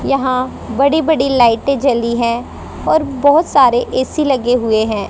यहां बड़ी बड़ी लाइटें जली हैं और बहुत सारे ए_सी लगे हुए हैं।